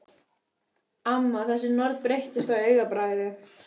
Amma, þessi norn, breyttist á augabragði.